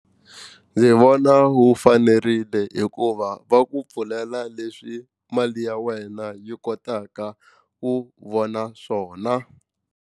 Ndzi vona wu fanerile hikuva va ku pfulela leswi mali ya wena yi kotaka ku vona swona.